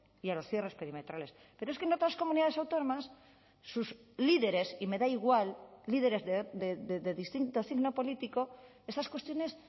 y a los cierres perimetrales pero es que en otras comunidades autónomas sus líderes y me da igual líderes de distinto signo político esas cuestiones